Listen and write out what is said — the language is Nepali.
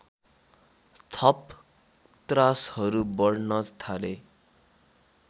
थप त्रासहरू बढ्न थाले